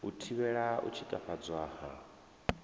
u thivhela u tshikafhadzwa ha